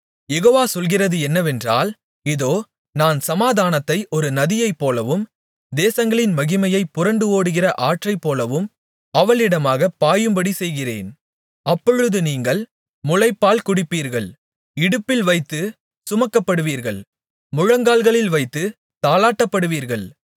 யெகோவா சொல்கிறது என்னவென்றால் இதோ நான் சமாதானத்தை ஒரு நதியைப்போலவும் தேசங்களின் மகிமையைப் புரண்டு ஓடுகிற ஆற்றைப்போலவும் அவளிடமாகப் பாயும்படி செய்கிறேன் அப்பொழுது நீங்கள் முலைப்பால் குடிப்பீர்கள் இடுப்பில் வைத்துச் சுமக்கப்படுவீர்கள் முழங்காலில் வைத்துத் தாலாட்டப்படுவீர்கள்